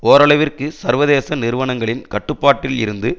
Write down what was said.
ஓரளவிற்கு சர்வதேச நிறுவனங்களின் கட்டுப்பாட்டில் இருந்து